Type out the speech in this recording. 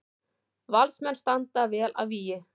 Valsmenn standa vel að vígi